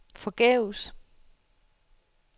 forgæves